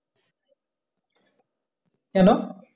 কেনো?